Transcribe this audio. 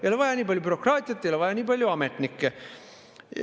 Ei ole vaja nii palju bürokraatiat, ei ole vaja nii palju ametnikke.